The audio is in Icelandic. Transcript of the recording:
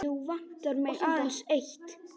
Nú vantar mig aðeins eitt!